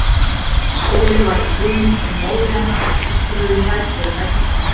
Sóley var í kjólnum sem móðir hennar og systur höfðu klæðst þegar þær giftust.